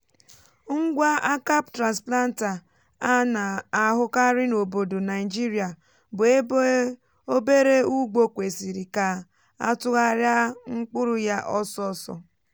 ngwa aka transplanter a na-ahụkarị n’obodo naịjirịa bu ebe obere ugbo kwesịrị ka á tụgharịa mkpụrụ yá ọsọ ọsọ.